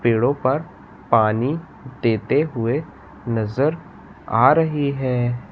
पेड़ों पर पानी देते हुए नजर आ रही है।